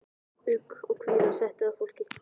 Ugg og kvíða setti að fólki.